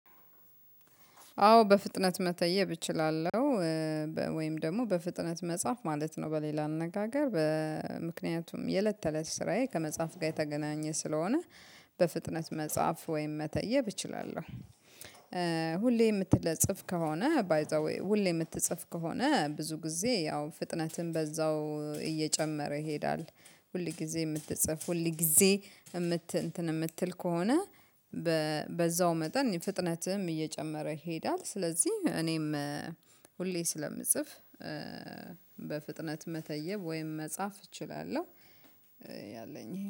አዎ በፍጥነት መተየብ እችላለሁ። ወይም ደግሞ በፍጥነት መጻፍ ማለት ነው በሌላ አነጋገር በምክንያቱም የለት ተለት ስራዬ ከመጻፍ ጋር የተገናኘ ስለሆነ በፍጥነት መጽሐፍ ወይም መተየብ እችላለሁ። ሁሌ የምትለጽፍ ከሆነ ባይ ዘ ዌይ ሁሌ የምትጽፍ ከሆነ ብዙ ጊዜ ያው ፍጥነትም በዛው እየጨመረ ይሄዳል። ሁል ጊዜ የምትጽፍ ሁል ጊዜ የምት እንትን የምትል ከሆነ። በዛው መጠን ፍጥነትህም እየጨመረ ይሄዳል። ስለዚህ እኔም ሁሌ ስለምጽፍ በፍጥነት መተየብ ወይም መጻፍ እችላለሁ። ያለኝ